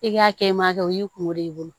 I k'a kɛ i ma kɛ o y'i kungolo ye i bolo